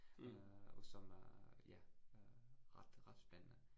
Øh og som øh ja øh ret ret spændende